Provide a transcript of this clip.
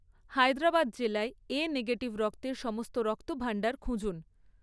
হায়দ্রাবাদ জেলায় A negative রক্তের সমস্ত রক্তভাণ্ডার খুঁজুন